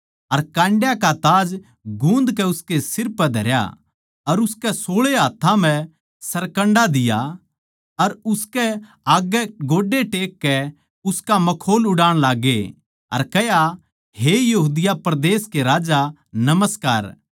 अर कांड्यां का ताज गुन्दकै उसकै सिर पै धरया अर उसकै सोळे हाथ्थां म्ह सरकण्डा दिया अर उसकै आग्गै गोड्डे टेक कै उसका मखौल उड़ाण लाग्गे अर कह्या हे यहूदिया परदेस के राजा नमस्कार